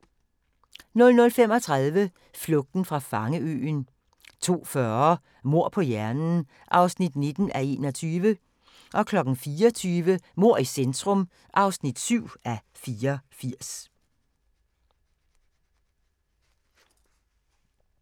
00:35: Flugten fra fangeøen 02:40: Mord på hjernen (19:21) 04:20: Mord i centrum (7:84)